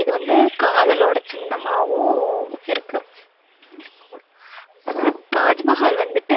இது வந்து காதலோட சின்னமாவும் இருக்கு தாஜ்மஹால் வந்துட்டு